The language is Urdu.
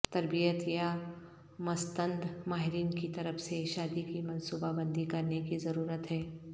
تربیت یا مستند ماہرین کی طرف سے شادی کی منصوبہ بندی کرنے کی ضرورت ہے